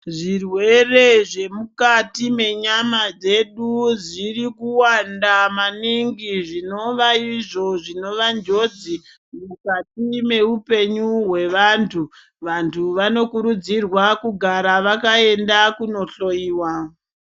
Zvirwere zvemukati menyama dzedu zviri kuwanda maningi zvinova izvo zvinova njodzi mukati meupenyu hwevantu vantu vanokurudzirwa kugara vakaenda kunohloyiwa.